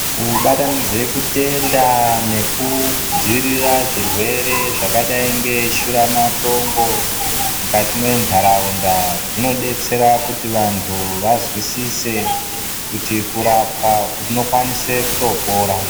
Kubatanidze kutenda nekudziirira zvirwere zvakadai ngeshura matongo mukati mwentaraunda zvinodetsera kuti vantu vazwisise kuti kurapwa unokwanise kutopora.